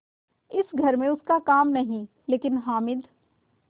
इस घर में उसका काम नहीं लेकिन हामिद